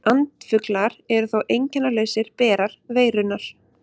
Andfuglar eru þó einkennalausir berar veirunnar.